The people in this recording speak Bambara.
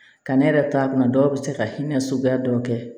Ka ne yɛrɛ ta kunna dɔw bɛ se ka hinɛ suguya dɔ kɛ